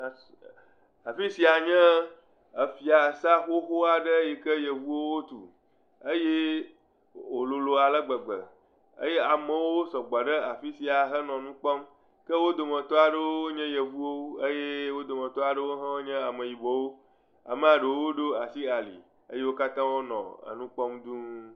Afi sia nye efiasa xoxo aɖe yike yevuwo tu eye wòlolo ale gbegbe eye amewo sɔgbɔ ɖe afi sia hele nu kpɔm. Ke wo dometɔ aɖewo nye yevuwo eye wo dometɔ aɖe nye ameyibɔwo, amea ɖewo ɖo asi ali eye wo katã wonɔ enu kpɔm duu.